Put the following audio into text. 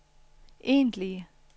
egentlige